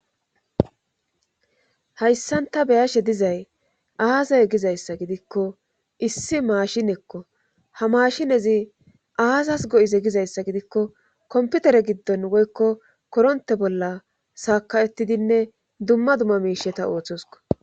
hayssanta beyashe dizay aazay gizayssa gidikko issi maashinekko ha mashinezi aazas go7ize gizayssa gidikko komputere giddon woykko koronte bolla saakawettidinne dumma dumma miisheta ooththosko